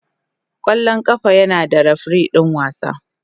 Kwallon kafa yana da refirin wasa.